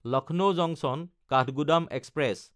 Lucknow জাংচন–কাঠগোদাম express